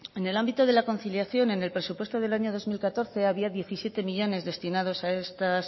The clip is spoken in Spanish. en el ámbito de la conciliación en el presupuesto del año dos mil catorce había diecisiete millónes destinados a estos